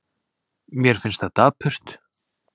Mér finnst það dapurt.